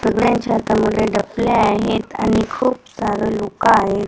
सगळ्यांच्या हातामध्ये डफल्या आहेत आणि खूप सारं लोकं आहे.